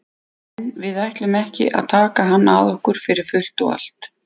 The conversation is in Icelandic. En við ætlum ekki að taka hann að okkur fyrir fullt og allt.